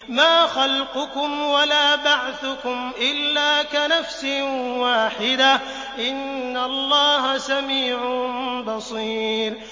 مَّا خَلْقُكُمْ وَلَا بَعْثُكُمْ إِلَّا كَنَفْسٍ وَاحِدَةٍ ۗ إِنَّ اللَّهَ سَمِيعٌ بَصِيرٌ